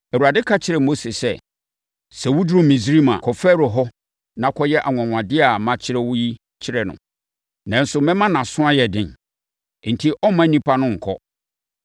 Awurade ka kyerɛɛ Mose sɛ, “Sɛ woduru Misraim a, kɔ Farao hɔ na kɔyɛ anwanwadeɛ a makyerɛ wo yi kyerɛ no, nanso mɛma nʼaso ayɛ den, enti ɔremma nnipa no nkɔ.